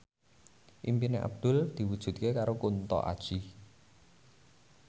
impine Abdul diwujudke karo Kunto Aji